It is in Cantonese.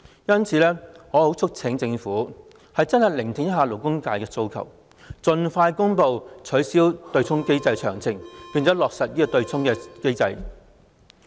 因此，我促請政府真正聆聽勞工界的訴求，盡快公布取消對沖機制的詳情，落實取消對沖機制。